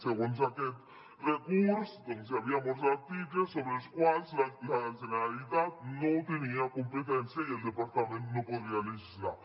segons aquest recurs hi havia molts articles sobre els quals la generalitat no tenia competència i el departament no podria legislar